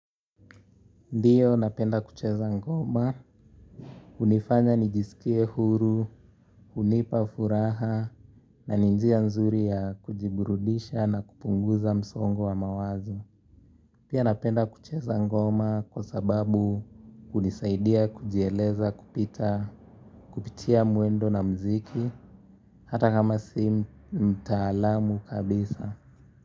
Ndiyo napenda kucheza ngoma, hunifanya nijisikie huru, hunipa furaha, na njia nzuri ya kujiburudisha na kupunguza msongo wa mawazo. Pia napenda kucheza ngoma kwa sababu hunisaidia kujieleza kupita, kupitia mwendo na mziki, hata kama si mtaalamu kabisa.